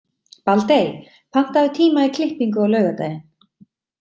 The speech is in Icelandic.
Baldey, pantaðu tíma í klippingu á laugardaginn.